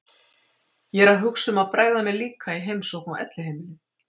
Ég er að hugsa um að bregða mér líka í heimsókn á elliheimilið.